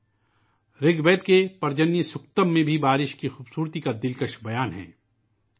بارشوں کی عظمت کو رگوید کی پرجانیا سکتم میں بھی بڑی ہی خوبصورتی کے ساتھ بیان کیا گیا ہے